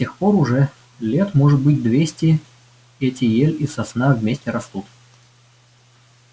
с тех пор уже лет может быть двести эти ель и сосна вместе растут